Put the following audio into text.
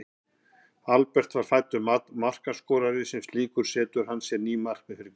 Albert er fæddur markaskorari og sem slíkur setur hann sér ný markmið fyrir hvert tímabil.